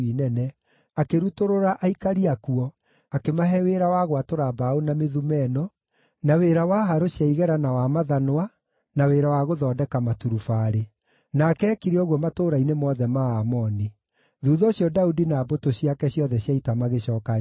akĩrutũrũra aikari akuo, akĩmahe wĩra wa gwatũra mbaũ na mĩthumeno, na aruti wĩra na harũ cia igera na wa mathanwa, na wĩra wa gũthondeka maturubarĩ. Nake eekire ũguo matũũra-inĩ mothe ma Aamoni. Thuutha ũcio Daudi na mbũtũ ciake ciothe cia ita magĩcooka Jerusalemu.